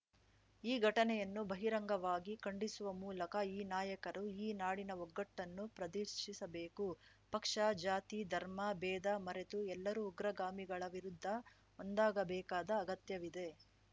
ಈ ಘಟನೆಯನ್ನು ಬಹಿರಂಗವಾಗಿ ಖಂಡಿಸುವ ಮೂಲಕ ಈ ನಾಯಕರು ಈ ನಾಡಿನ ಒಗ್ಗಟನ್ನು ಪ್ರದೆರ್ಶಿಸಬೇಕು ಪಕ್ಷ ಜಾತಿ ಧರ್ಮ ಭೇದ ಮರೆತು ಎಲ್ಲರೂ ಉಗ್ರಗಾಮಿಗಳ ವಿರುದ್ಧ ಒಂದಾಗಬೇಕಾದ ಅಗತ್ಯವಿದೆ